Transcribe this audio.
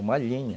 Uma linha.